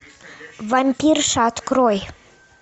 вампирша открой